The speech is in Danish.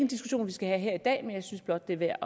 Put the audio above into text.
diskussion vi skal have her i dag men jeg synes blot det er værd